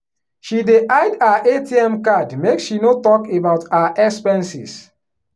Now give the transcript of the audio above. she dey hide her atm card make she no talk about her expenses.